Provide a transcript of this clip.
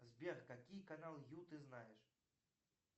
сбер какие каналы ю ты знаешь